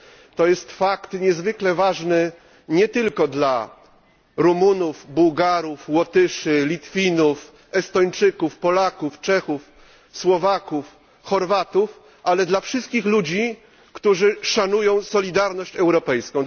To jest fakt niezwykle ważny nie tylko dla Rumunów, Bułgarów, Łotyszy, Litwinów, Estończyków, Polaków, Czechów, Słowaków, Chorwatów, ale dla wszystkich ludzi, którzy szanują solidarność europejską.